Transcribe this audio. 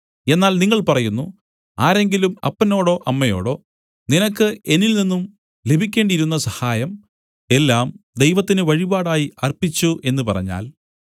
എന്നാൽ നിങ്ങൾ പറയുന്നു ആരെങ്കിലും അപ്പനോടോ അമ്മയോടോ നിനക്ക് എന്നിൽ നിന്നും ലഭിക്കേണ്ടിയിരുന്ന സഹായം എല്ലാം ദൈവത്തിന് വഴിപാടായി അർപ്പിച്ചു എന്നു പറഞ്ഞാൽ